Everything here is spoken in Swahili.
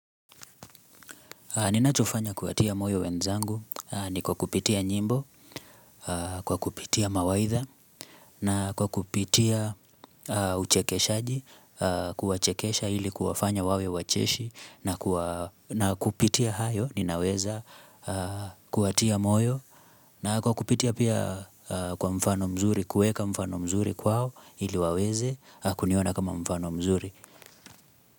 Ninachofanya kuwatia moyo wenzangu ni kwa kupitia nyimbo, kwa kupitia mawaidha, na kwa kupitia uchekeshaji, kuwachekesha ili kuafanya wawe wacheshi, na kupitia hayo ninaweza kuwatia moyo, na kwa kupitia pia kwa mfano mzuri, kuweka mfano mzuri kwao ili waweze, kuniona kama mfano mzuri.